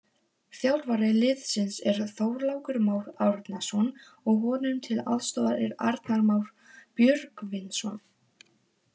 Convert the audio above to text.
Þjálfari liðsins er Þorlákur Már Árnason og honum til aðstoðar er Arnar Már Björgvinsson.